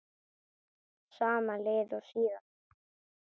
Sama lið og síðast?